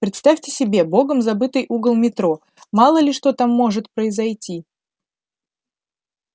представь себе богом забытый угол метро мало ли что там может произойти